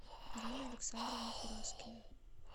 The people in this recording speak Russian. ирина александровна хураскина